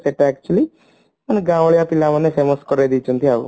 ସେଟା actually ଗାଁଉଁଲିଆ ପିଲାମାନେ famous କରେଇ ଦେଇଛନ୍ତି ଆଉ